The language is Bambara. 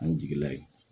An jigi la yen